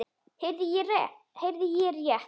Heyrði ég rétt.